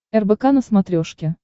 рбк на смотрешке